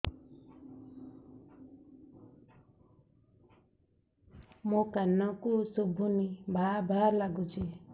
ମୋ କାନକୁ ଶୁଭୁନି ଭା ଭା ଲାଗୁଚି